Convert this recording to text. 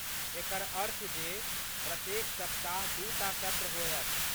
एकर अर्थ जे प्रत्येक सप्ताह दूटा सत्र होयत।